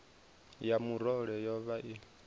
ya murole yo vha i